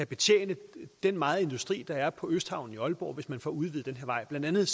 betjene den megen industri der er på østhavnen i aalborg hvis man får udvidet den her vej blandt andet